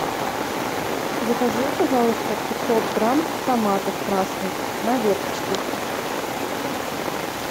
закажи пожалуйста пятьсот грамм томатов красных на веточке